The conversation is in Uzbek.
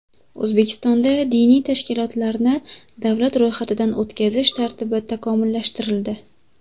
O‘zbekistonda diniy tashkilotlarni davlat ro‘yxatidan o‘tkazish tartibi takomillashtirildi.